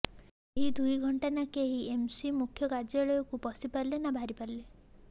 ଏହି ଦୁଇ ଘଣ୍ଟା ନା କେହି ବିଏମ୍ସି ମୁଖ୍ୟ କାର୍ଯ୍ୟାଳୟକୁ ପଶିପାରିଲେ ନା ବାହାରିପାରିଲେ